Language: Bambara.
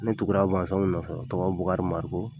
Ne tugura mansaw nɔfɛ tɔgɔ bukari mariku